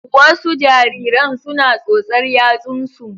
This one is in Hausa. Wasu jariran suna tsotsar yatsunsu.